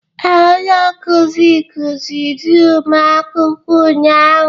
Ee, onye nkuzi kuziri ụmụ akwụkwọ ụnyahụ.